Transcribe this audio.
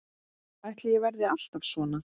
Ætli ég verði alltaf svona?